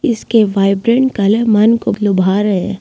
इसके vibrant colour मन को लुभा रहे हैं।